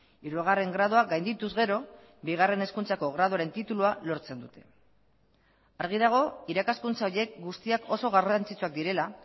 hirugarren gradua gaindituz gero bigarren hezkuntzako graduaren titulua lortzen dute argi dago irakaskuntza horiek guztiak oso garrantzitsuak direla